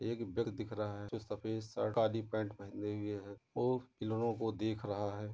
एक दिख रहा है जो सफ़ेद शर्ट काली पेंट पहने हुये है और खिलोनों को देख रहा है।